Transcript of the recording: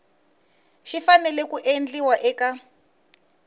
xi fanele ku endliwa eka